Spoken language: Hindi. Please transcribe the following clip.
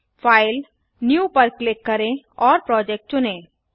फाइल न्यू पर क्लिक करें और प्रोजेक्ट चुनें